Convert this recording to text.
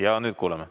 Jaa, nüüd kuuleme.